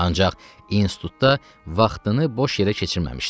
Ancaq institutda vaxtını boş yerə keçirməmişdi.